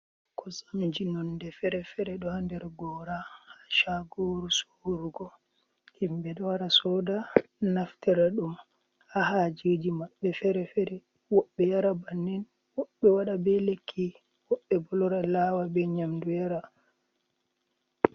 Kosamji nonde fere-fere ɗo ha nder gora ha shagoru sorugo, himɓe ɗo wara soda naftira ɗum ha hajeji maɓɓe fere-fere, woɓɓe yara bannin woɓɓe waɗa be lekki, woɓɓe bo lora lawa be nyamdu yara.